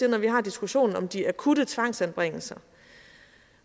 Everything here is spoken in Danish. at når vi har diskussionen om de akutte tvangsanbringelser